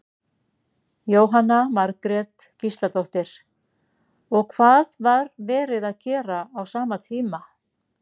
Jóhanna Margrét Gísladóttir: Og hvað var verið að gera á sama tíma?